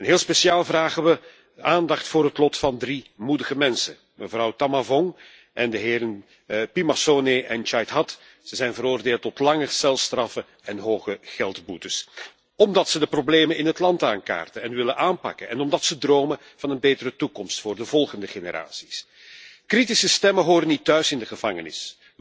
En heel speciaal vragen we aandacht voor het lot van drie moedige mensen mevrouw Thammavong en de heren Phimmasone en Chaithad. Ze zijn veroordeeld tot lange celstraffen en hoge geldboetes, omdat ze de problemen in het land aankaarten en willen aanpakken en omdat ze dromen van een betere toekomst voor de volgende generaties. Kritische stemmen horen niet thuis in de gevangenis.